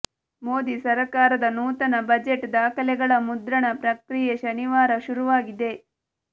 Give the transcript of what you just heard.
ಮೋದಿ ಸರಕಾರದ ನೂತನ ಬಜೆಟ್ ದಾಖಲೆಗಳ ಮುದ್ರಣ ಪ್ರಕ್ರಿಯೆ ಶನಿವಾರ ಶುರುವಾಗಿದೆ